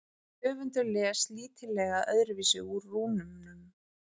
höfundur les lítillega öðruvísi úr rúnunum